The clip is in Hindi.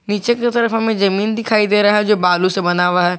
नीचे की तरफ हमें जमीन दिखाई दे रहा है जो बालू से बना हुआ है।